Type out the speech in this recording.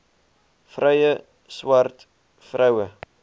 vrye swart vroue